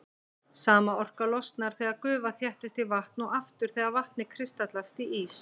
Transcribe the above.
Sama orka losnar þegar gufa þéttist í vatn og aftur þegar vatnið kristallast í ís.